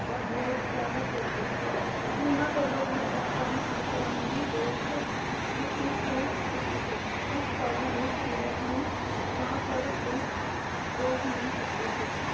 ਹਰ ਰੋਜ ਜਿਆਦਾ ਕੁੱਟਦੀ ਉਨ੍ਹਾਂ ਕੋਲੋਂ ਘਰ ਦਾ ਕਰਾਉਂਦੀ। ਬਾਸੋ ਬੁੱਢੀ ਹੋ ਚੁੱਕੀ ਸੀ ਜਿਸ ਕਾਰਨ ਉਹ ਸੀਰਤ ਨੂੰ ਬਾਂਹ ਫੜ ਕੇ ਰੋਕ ਨਹੀਂ ਸਕਦੀ ਸੀ।